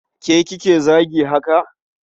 Ke kike zagi haka?